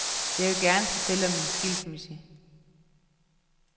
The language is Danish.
Jeg vil gerne fortælle om min skilsmisse.